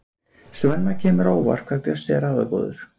Svenna kemur á óvart hvað Bjössi er ráðagóður.